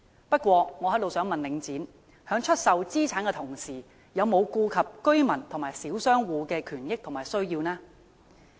不過，我想問領展，在出售資產的同時，有否顧及居民和小商戶的權益和需要呢？